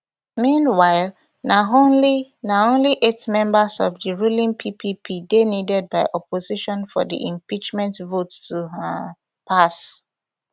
meanwhile na only na only eight members of di ruling ppp dey needed by opposition for di impeachment vote to um pass